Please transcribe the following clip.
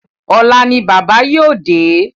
Ọ̀la ni bábà yóò dé.